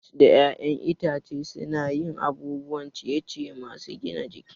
Nuts da 'ya'yan itace suna yin abubuwan ciye-ciye masu gina jiki.